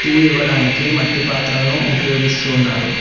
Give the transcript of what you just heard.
Tea ఇవ్వడానికి మట్టి పాత్రను ఉపయోగిస్తునారు.